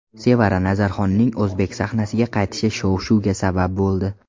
Sevara Nazarxonning o‘zbek sahnasiga qaytishi shov-shuvga sabab bo‘ldi.